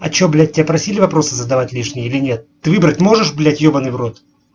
а что блять тебя просили вопросы задавать лишние или нет ты выбрать можешь блять ёбанный в рот